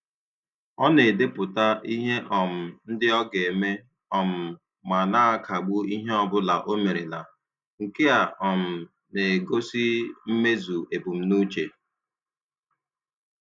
Ọ na - edepụta ihe um ndị o ga-eme, um ma na akagbu nke ọbụla omerela, nke a um na - na - egosi mmezu ebumnuche.